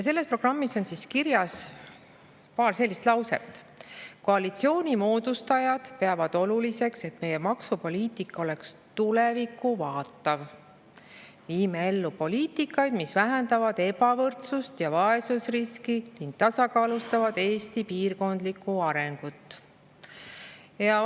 Selles programmis on kirjas ka paar sellist lauset, nagu "Koalitsiooni moodustajad peavad oluliseks, et meie maksupoliitika oleks tulevikku vaatav" ja "Viime ellu poliitikaid, mis vähendavad ebavõrdsust ja vaesusriski ning tasakaalustavad Eesti piirkondlikku arengut".